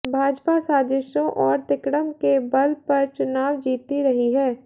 भाजपा साजिशों और तिकड़म के बल पर चुनाव जीतती रही है